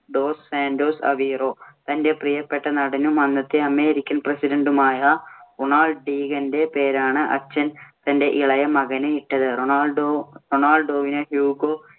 Dose മാന്‍റോസ് Aveiro, തന്‍റെ പ്രിയപ്പെട്ട നടനും അന്നത്തെ അമേരിക്കൻ president ഉമായ റൊണാൾഡ് റീഗന്‍റെ പേരാണ് അച്ഛൻ തന്‍റെ ഇളയ മകന് ഇട്ടത്. റൊണാൾഡോവിന് ഹ്യൂഗോ